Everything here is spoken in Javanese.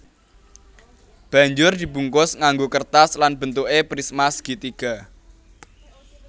Banjur dibungkus nganggo kertas lan bentuké prisma segitiga